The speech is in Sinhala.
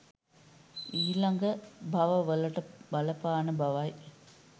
ඊළඟ භව වලට බලපාන බව යි